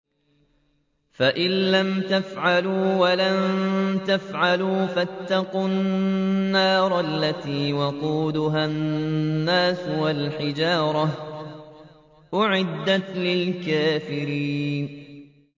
فَإِن لَّمْ تَفْعَلُوا وَلَن تَفْعَلُوا فَاتَّقُوا النَّارَ الَّتِي وَقُودُهَا النَّاسُ وَالْحِجَارَةُ ۖ أُعِدَّتْ لِلْكَافِرِينَ